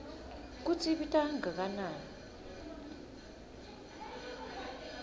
kutsi ibita kangakanani